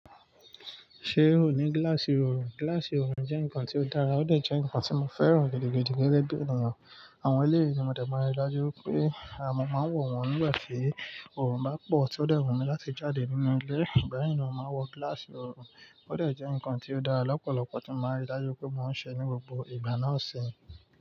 Ṣé o ní gíláàsì oorun? Gíláàsì oorun jẹ́ nǹkan tí ó dára, ó dà jẹ́ nǹkan tí mo fẹ́ràn gidigidi gẹ́gẹ́ bí ènìyàn. Àwọn eleyi tí mo de máa ń rí dájú wipé, mo máa ń wọ̀n wọ́n nígbà tí. Oorun bá pọ̀ tí ó dẹ̀ wọ̀n mi láti jáde nínú ilé, ìgbà yi ni mo màá wọ gíláàsì oorun. Ó dà jẹ́ nǹkan tí ó dára, lọ́pọ̀lọ́pọ̀ tí màá rí dájú pé mò ń ṣe ní gbogbo ìgbà náà ṣe.